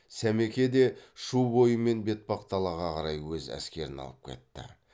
сәмеке де шу бойымен бетпақдалаға қарай өз әскерін алып кетті